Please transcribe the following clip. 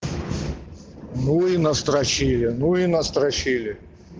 ну и настрочили ну и настрочили